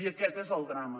i aquest és el drama